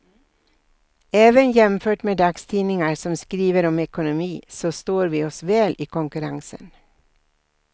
Även jämfört med dagstidningar som skriver om ekonomi så står vi oss väl i konkurrensen.